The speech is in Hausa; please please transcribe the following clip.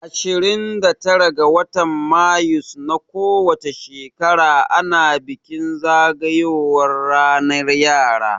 Ashirin da tara ga watan mayus na ko wace shekara ana bikin zagayowan ranar yara